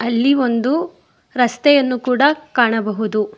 ಇಲ್ಲಿ ಒಂದು ರಸ್ತೆಯನ್ನು ಕೂಡ ಕಾಣಬಹುದು.